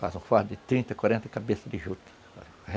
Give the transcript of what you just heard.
Faz um fardo de trinta, quarenta cabeças de juta.